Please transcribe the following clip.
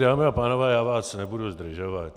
Dámy a pánové, já vás nebudu zdržovat.